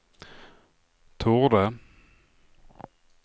torde